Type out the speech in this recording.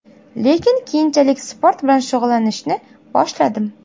Lekin keyinchalik sport bilan shug‘ullanishni boshladim.